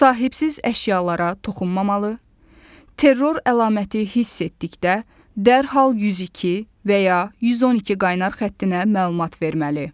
Sahibsiz əşyalara toxunmamalı, terror əlaməti hiss etdikdə dərhal 102 və ya 112 qaynar xəttinə məlumat verməli.